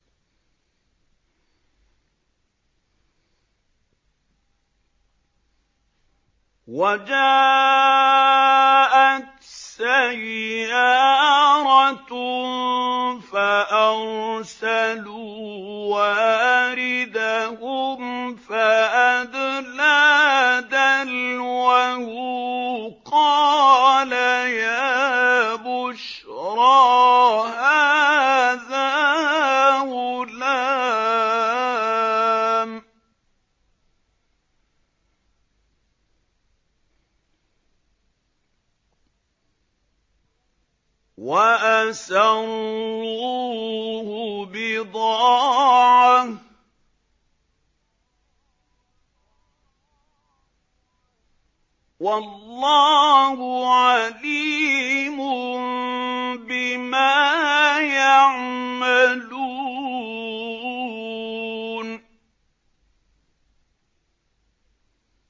وَجَاءَتْ سَيَّارَةٌ فَأَرْسَلُوا وَارِدَهُمْ فَأَدْلَىٰ دَلْوَهُ ۖ قَالَ يَا بُشْرَىٰ هَٰذَا غُلَامٌ ۚ وَأَسَرُّوهُ بِضَاعَةً ۚ وَاللَّهُ عَلِيمٌ بِمَا يَعْمَلُونَ